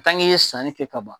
i ye sanni kɛ ka ban